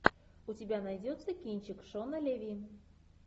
у тебя найдется кинчик шона леви